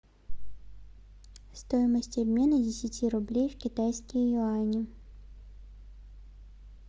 стоимость обмена десяти рублей в китайские юани